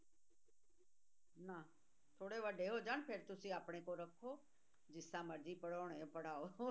ਨਾ ਥੋੜ੍ਹੇ ਵੱਡੇ ਹੋ ਜਾਣ ਫਿਰ ਤੁਸੀਂ ਆਪਣੇ ਕੋਲ ਰੱਖੋ, ਜਿਸ ਤਰ੍ਹਾਂ ਮਰਜ਼ੀ ਪੜ੍ਹਾਉਣੇ ਪੜ੍ਹਾਓ